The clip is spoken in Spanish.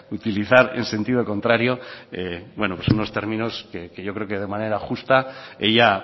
utilizar en sentido contrario bueno pues unos términos que yo creo que de manera justa ella